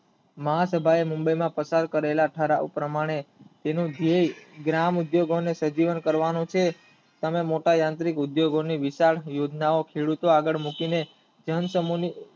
મહા સભાએ મુંબઈમાં ટપાલ કરેલા ઠરાવ પ્રમાણે જે ને જેય ગ્રામ ઉદ્યોગો સજીવન કરવાનું છે અને મોટા યાંત્રિક ઉદ્યોગોની વિકાસ યોજનાઓ ખેડૂતો આગળ મૂકીને તેમ